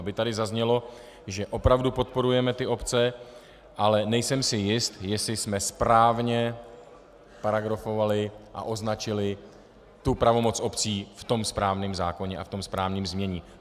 Aby tady zaznělo, že opravdu podporujeme ty obce, ale nejsem si jist, jestli jsme správně paragrafovali a označili tu pravomoc obcí v tom správném zákoně a v tom správném znění.